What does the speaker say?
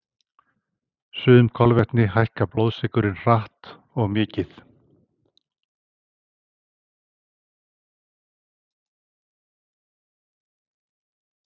Sum kolvetni hækka blóðsykurinn hratt og mikið.